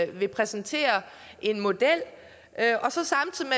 vil præsentere en model